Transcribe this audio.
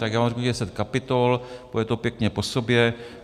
Tak já vám řeknu deset kapitol, půjde to pěkně po sobě.